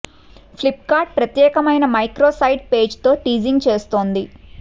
flip cart ప్రత్యేకమైన micro site page తో teasing చేస్తోంది